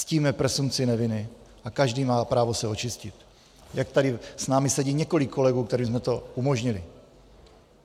Ctíme presumpci neviny a každý má právo se očistit, jak tady s námi sedí několik kolegů, kterým jsme to umožnili.